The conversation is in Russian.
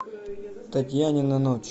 татьянина ночь